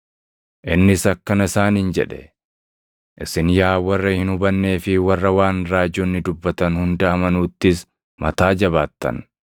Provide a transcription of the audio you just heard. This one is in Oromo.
Innis akkana isaaniin jedhe; “Isin yaa warra hin hubannee fi warra waan raajonni dubbatan hunda amanuuttis mataa jabaattan!